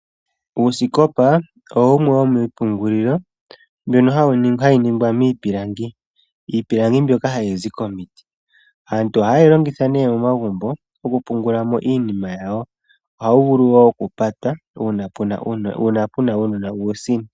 Uusikopa owo wumwe womiipungulilo mbyono hayi ningwa miipilangi. Iipilangi mbyoka hayi zi komiti. Aantu ohaye yi longitha nee momagumbo okupungula mo iinima yawo. Ohawu vulu woo oku pata uuna puna uunona uutsini.